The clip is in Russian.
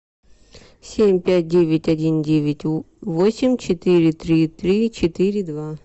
семь пять девять один девять восемь четыре три три четыре два